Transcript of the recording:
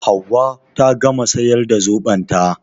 Hauwa ta gama siyar da zoɓon ta